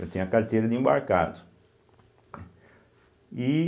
Eu tenho a carteira de embarcado. e